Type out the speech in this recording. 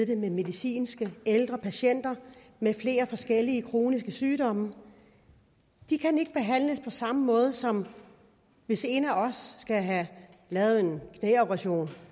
det med medicinske ældre patienter med flere forskellige kroniske sygdomme de kan ikke behandles på samme måde som hvis en af os skal have lavet en knæoperation